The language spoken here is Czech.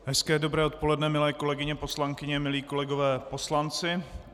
Hezké dobré odpoledne, milé kolegyně poslankyně, milí kolegové poslanci.